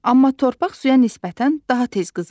Amma torpaq suya nisbətən daha tez qızır.